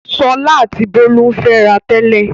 Ṣọlá àti Bólú ń fẹ́ra tẹ́lẹ̀.